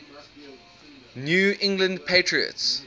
new england patriots